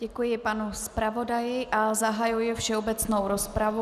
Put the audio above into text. Děkuji panu zpravodaji a zahajuji všeobecnou rozpravu.